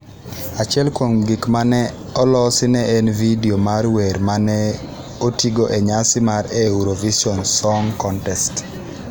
Achiel kuom gik ma ne olosi ne en vidio mar wer ma ne otigo e nyasi mar Eurovision Song Contest.